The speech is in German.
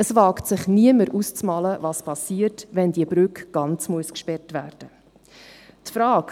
Es wagt niemand sich auszumalen, was passiert, wenn die Brücke ganz gesperrt werden muss.